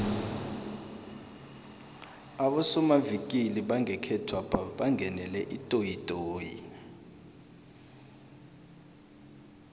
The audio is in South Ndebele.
abosomavikili bangekhethwapha bangenele itoyitoyi